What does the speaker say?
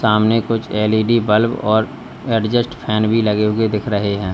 सामने कुछ LED bulb और एडजस्ट फैन भी लगे हुए दिख रहे हैं।